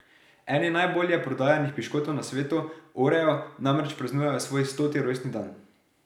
Eni najbolje prodajanih piškotov na svetu, oreo, namreč praznujejo svoj stoti rojstni dan.